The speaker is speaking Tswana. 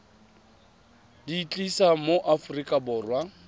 di tlisa mo aforika borwa